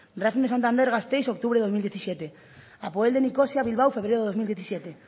racingo de santander gasteiz octubre del dos mil diecisiete apoel de nicosia bilbao febrero del dos mil diecisiete